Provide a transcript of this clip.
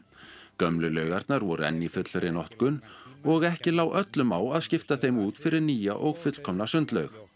gömlu laugarnar voru enn í fullri notkun og ekki lá öllum á að skipta þeim út fyrir nýja og fullkomna sundlaug